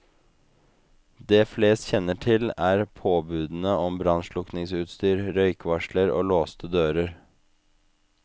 Det flest kjenner til, er påbudene om brannslukkingsutstyr, røykvarsler og låste dører.